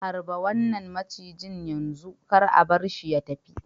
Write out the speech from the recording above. Harba wannan macijin yanzu! kar a bar shi ya tafi.